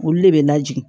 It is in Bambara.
Olu de bɛ lajigi